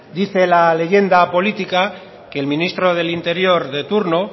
dice la leyenda política que el ministro del interior de turno